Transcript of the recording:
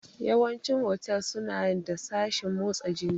Yawanci otals suna da sashen motsa jiki